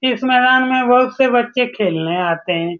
इस मैदान में बहुत से बच्चे खेलने आते हैं।